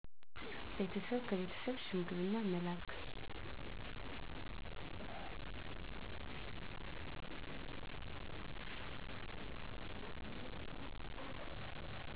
ቤተሰብ ከቤተሰብ ሽምግልና መላክ